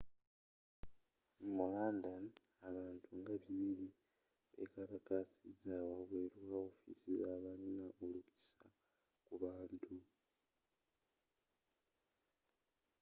mu london abantu nga 200 bekalakasiza wabweru wa wofiisi zabalina olukusa ku bintu